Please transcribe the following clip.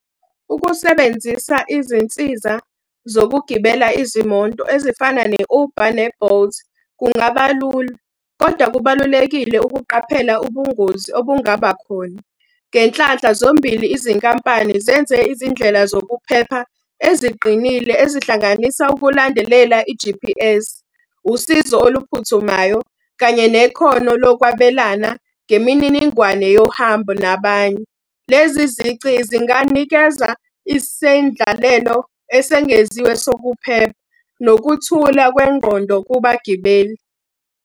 Ukusebenzisa izinsiza zokugibela izimoto ezifana ne-Uber ne-Bolt, kungaba lula, kodwa kubalulekile ukuqaphela ubungozi obungaba khona. Ngenhlanhla zombili izinkampani zenze izindlela zokuphepha eziqinile ezihlanganisa ukulandelela i-G_P_S, usizo oluphuthumayo kanye nekhono lokwabelana ngemininingwane yohambo nabanye. Lezi zici zinganikeza isendlalelo esengeziwe sokupheka. Nokuthula kwengqondo kubagibeli.